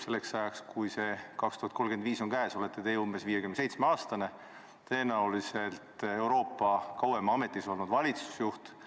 Selleks ajaks, kui aasta 2035 on käes, olete teie umbes 57-aastane, tõenäoliselt Euroopa kõige kauem ametis olnud valitsusjuht.